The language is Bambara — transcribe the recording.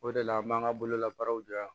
O de la an b'an ka bololabaaraw di yan